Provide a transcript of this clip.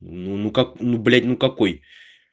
ну ну как ну блядь ну какой